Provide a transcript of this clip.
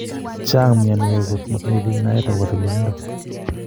Chang mionwek kot matinye bik naet akobo tililindo